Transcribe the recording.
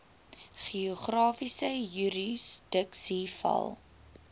geografiese jurisdiksie val